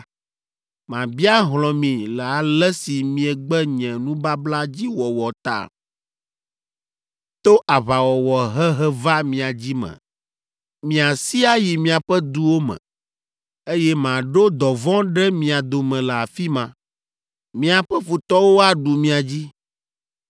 Mabia hlɔ̃ mi le ale si miegbe nye nubabla dzi wɔwɔ ta, to aʋawɔwɔ hehe va mia dzi me. Miasi ayi miaƒe duwo me, eye maɖo dɔvɔ̃ ɖe mia dome le afi ma. Miaƒe futɔwo aɖu mia dzi.